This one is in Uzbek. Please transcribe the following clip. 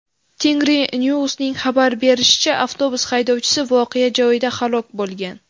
Tengrinews’ning xabar berishicha , avtobus haydovchisi voqea joyida halok bo‘lgan.